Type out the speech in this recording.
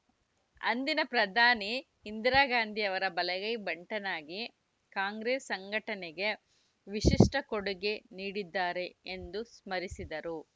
ಅಂದಿನ ಪ್ರಧಾನಿ ಇಂದಿರಾಗಾಂಧಿ ಅವರ ಬಲಗೈ ಭಂಟನಾಗಿ ಕಾಂಗ್ರೆಸ್‌ ಸಂಘಟನೆಗೆ ವಿಶಿಷ್ಟಕೊಡುಗೆ ನೀಡಿದ್ದಾರೆ ಎಂದು ಸ್ಮರಿಸಿದರು